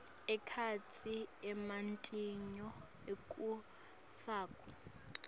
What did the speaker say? ekhatsi ematinyo ekufakwa